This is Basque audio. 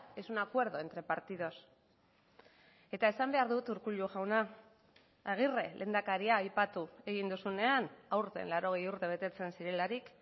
es un acuerdo entre partidos eta esan behar dut urkullu jauna agirre lehendakaria aipatu egin duzunean aurten laurogei urte betetzen zirelarik